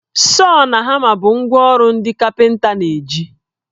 Sọọ na hama bụ ngwá ọrụ ndị kapịnta na-eji